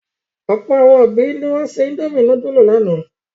Ọ̀pọ̀ àwọn òbí ni wọ́n se indomie núdúlù lánàá.